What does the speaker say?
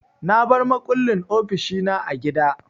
Na bar makullin ofishi na a gida.